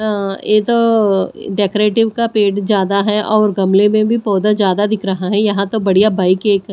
अं ये तो अ डेकोरेटिव का पेड़ ज्यादा है और गमले में भी पौधा ज्यादा दिख रहा है यहां तो बढ़िया बाइक क--